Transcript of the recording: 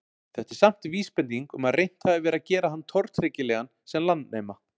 Þetta er samt vísbending um að reynt hafi verið að gera hann tortryggilegan sem landnema.